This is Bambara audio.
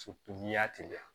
n'i y'a teliya